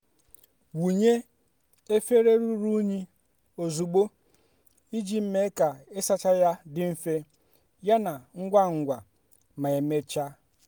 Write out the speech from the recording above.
wunye efere ruru unyi ozugbo iji mee ka ịsacha ya dị mfe yana ngwa ngwa ma emechaa.